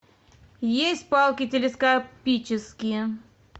есть палки телескопические